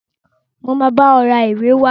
Mo máa bá ọ ra ìwé wá.